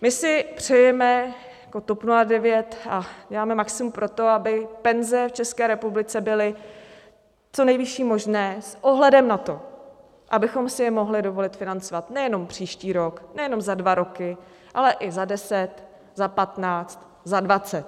My si přejeme jako TOP 09, a děláme maximum pro to, aby penze v České republice byly co nejvyšší možné s ohledem na to, abychom si je mohli dovolit financovat nejenom příští rok, nejenom za dva roky, ale i za deset, za patnáct, za dvacet.